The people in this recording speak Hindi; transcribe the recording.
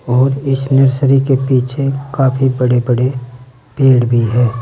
और इस नर्सरी के पीछे काफी बड़े बड़े पेड़ भी है।